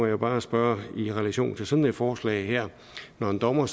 jo bare spørge i relation til sådan et forslag her når en dommer